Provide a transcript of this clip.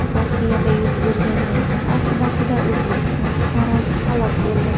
Rossiyada yuz bergan yong‘in oqibatida O‘zbekiston fuqarosi halok bo‘ldi.